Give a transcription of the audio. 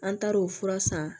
An taar'o fura san